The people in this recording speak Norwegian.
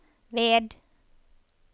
ved